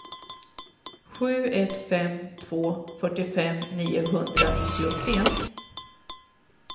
sju ett fem två fyrtiofem niohundranittiotre